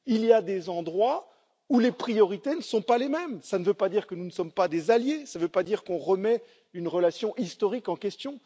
Il y a des endroits où les priorités ne sont pas les mêmes, cela ne veut pas dire que nous ne sommes pas des alliés ou qu'on remet une relation historique en question.